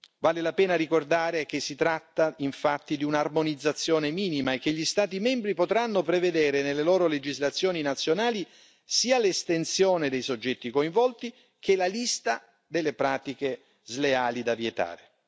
Vale la pena ricordare che si tratta infatti di un'armonizzazione minima, e che gli Stati membri potranno prevedere nelle loro legislazioni nazionali sia l'estensione dei soggetti coinvolti, che la lista delle pratiche sleali da vietare.